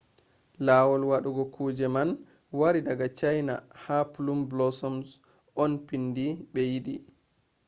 lawol wadugo kuje man wari daga china ha plum blossoms on pindi be yidi